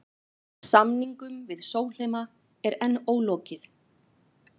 Samningum við Sólheima er enn ólokið